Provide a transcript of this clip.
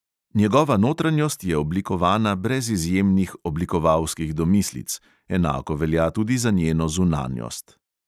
Njegova notranjost je oblikovana brez izjemnih oblikovalskih domislic, enako velja tudi za njeno zunanjost.